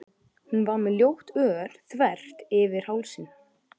Hún var með ljótt ör þvert yfir hálsinn.